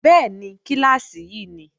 Bẹ́ẹ̀ni, kíláàsì yí ni